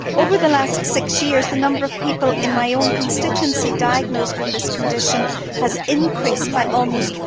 Over the last six years the number of people in my own constituency diagnosed with this condition has increased by almost